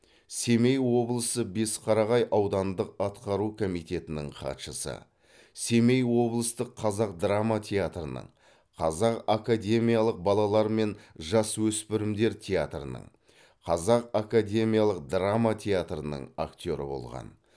семей облысы бесқарағай ауданындық атқару комитетінің хатшысы семей облыстық қазақ драма театрының қазақ академиялық балалар мен жасөспірімдер театрының қазақ академиялық драма театрының актеры болған